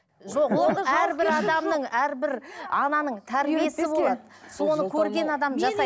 әрбір аданың әрбір ананың тәрбиесі болады соны көрген адам жасай